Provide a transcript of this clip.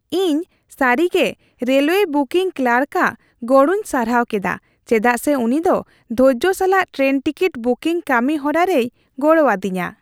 ᱤᱧ ᱥᱟᱹᱨᱤᱜᱮ railway booking ᱠᱞᱟᱨᱠᱼᱟᱜ ᱜᱚᱲᱚᱧ ᱥᱟᱨᱦᱟᱣ ᱠᱮᱫᱟ ᱪᱮᱫᱟᱜ ᱥᱮ ᱩᱱᱤ ᱫᱚ ᱫᱷᱳᱨᱡᱳ ᱥᱟᱞᱟᱜ ᱴᱨᱮᱱ ᱴᱤᱠᱤᱴ ᱵᱩᱠᱤᱝ ᱠᱟᱹᱢᱤ ᱦᱚᱨᱟᱨᱮᱭ ᱜᱚᱲᱚ ᱟᱫᱤᱧᱟ ᱾